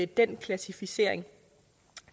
den klassificering